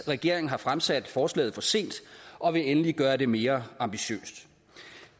regeringen har fremsat forslaget for sent og vil endelig gøre det mere ambitiøst